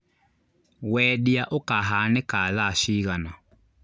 Wendia ũkahanĩka thaa cigana